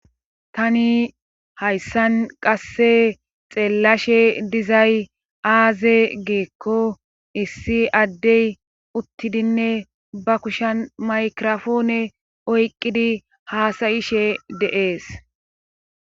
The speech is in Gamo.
tani hayssan qasse xeellashe dizay aaze geekko issi addey uttidinne ba kushan maykirofoone oyqqidi haasayishe deees